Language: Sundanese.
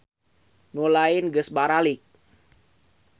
Kebeneran nu mahasiswa nu lain geus baralik.